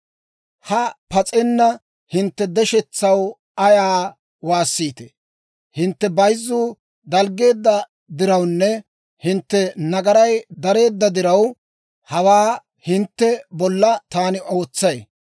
Ha pas'enna hintte deshetsaw ayaw waassiitee? Hintte bayzzuu dalggiide dirawunne hintte nagaray dariide diraw, hawaa hintte bolla taani ootsay.